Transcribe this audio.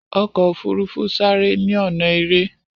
ofurufu sare ni ọnà èrè.